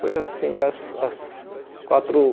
Foi assim as as quatro